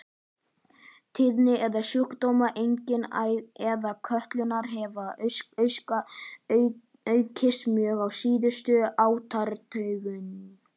Tíðni æðasjúkdóma, einkum æðakölkunar, hefur aukist mjög á síðustu áratugum.